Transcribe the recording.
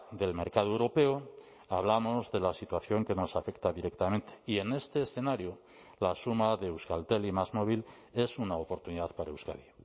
del mercado europeo hablamos de la situación que nos afecta directamente y en este escenario la suma de euskaltel y másmóvil es una oportunidad para euskadi